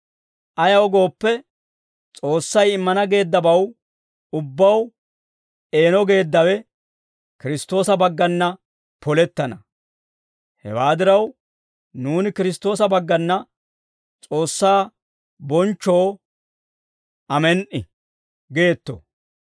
Ayaw gooppe, S'oossay immana geeddabaw ubbaw eeno geeddawe Kiristtoosa baggana polettana; hewaa diraw, nuuni Kiristtoosa baggana S'oossaa bonchchoo, amen"i geetto.